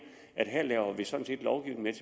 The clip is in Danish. at her laver vi sådan set lovgivning